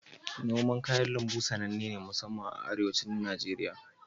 Noman kayan lambu tsanenne ce masamman a Arewacin Najeriya.